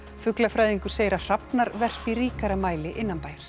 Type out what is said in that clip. fuglafræðingur segir að hrafnar verpi í ríkara mæli innanbæjar